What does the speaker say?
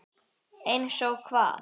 Eins og hvað?